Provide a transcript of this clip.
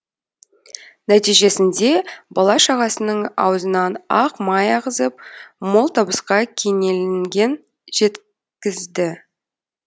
нәтижесінде бала шағасының аузынан ақ май ағызып мол табысқа кенеелген жеткізді